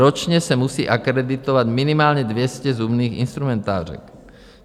Ročně se musí akreditovat minimálně 200 zubních instrumentářek.